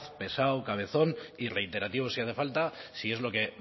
pesado cabezón y reiterativo si hace falta si es lo que